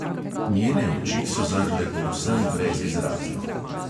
Njene oči so zrle povsem brezizrazno.